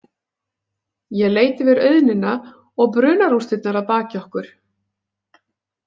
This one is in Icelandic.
Ég leit yfir auðnina og brunarústirnar að baki okkur.